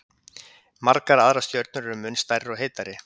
Margar aðrar stjörnur eru mun stærri og heitari.